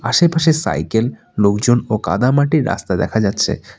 আশেপাশে সাইকেল লোকজন ও কাদা মাটির রাস্তা দেখা যাচ্ছে।